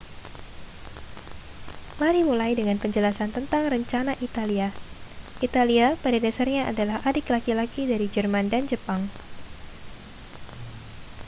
mari mulai dengan penjelasan tentang rencana italia italia pada dasarnya adalah adik laki-laki dari jerman dan jepang